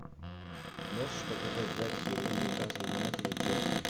можешь показать запись игры ньюкасл юнайтед и челси